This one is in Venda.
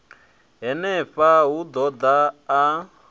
henefha u ḓo ḓa a